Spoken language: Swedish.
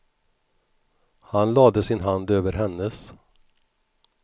Han lade sin hand över hennes.